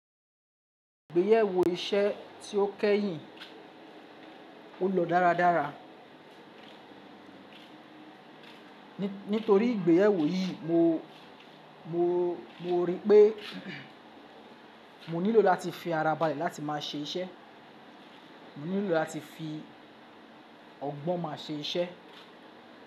Ìgbéyewó iṣẹ́ tí ó kẹ́yìn ó lọ dára dára. Nítorí ìgbéyewó yì mo, mo, mo rí pé mo nílò láti fi ara ba lè láti máa ṣe iṣẹ́. Mo nílò láti fi ọgbọ́n maa ṣe iṣẹ́.